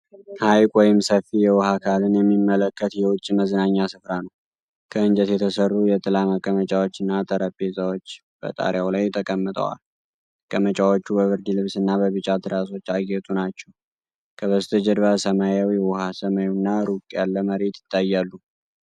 ሐይቅ ወይም ሰፊ የውሃ አካልን የሚመለከት የውጭ መዝናኛ ስፍራ ነው። ከእንጨት የተሠሩ የጥላ መቀመጫዎችና ጠረጴዛዎች በጣሪያው ላይ ተቀምጠዋል። መቀመጫዎቹ በብርድ ልብስና በቢጫ ትራሶች ያጌጡ ናቸው። ከበስተጀርባ ሰማያዊው ውሃ፣ ሰማዩና ሩቅ ያለ መሬት ይታያሉ።